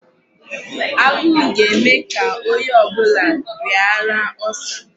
Agụụ ga-eme ka ónyé ọbụla rịara Ulcer.